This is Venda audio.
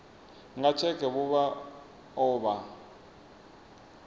nga tsheke vha o vha